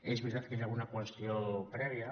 és veritat que hi ha una qüestió prèvia